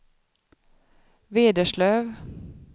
Vederslöv